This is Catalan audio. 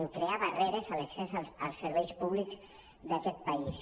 amb crear barreres a l’accés als serveis públics d’aquest país